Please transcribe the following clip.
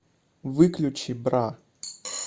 выключи бра